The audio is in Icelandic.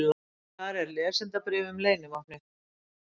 Þar er lesendabréf um leynivopnið.